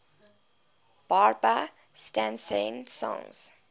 barbra streisand songs